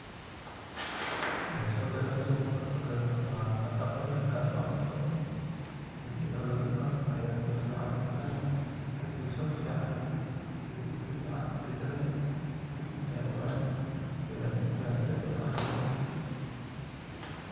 Waa soo gadani, suuq markaad kasoo gadato, waa daqee, markaad sifican udaqato, iyado nadiif ah ayaa sifican ufiiqanee, kadib sifican ayaa ujarjaranee, kadib ayaa cunee, waay wanagsan tahay sait ayeey ufican tahay.